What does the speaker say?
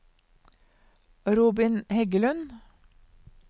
Robin Heggelund